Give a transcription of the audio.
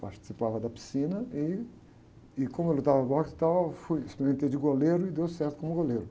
Participava da piscina e, e, como eu lutava boxe e tal, eu fui, experimentei de goleiro e deu certo como goleiro.